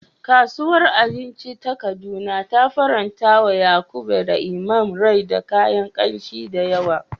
Kasuwar abinci ta Kaduna ta farantawa Yakub da Imam rai da kayan kamshi da yawa.